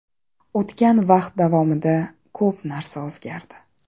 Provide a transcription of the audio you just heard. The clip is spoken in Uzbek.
O‘tgan vaqt davomida ko‘p narsa o‘zgardi.